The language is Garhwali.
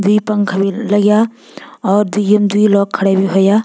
द्वि पंखा भी लग्याँ और द्वि म द्वि लोग खड़ा भी होयां।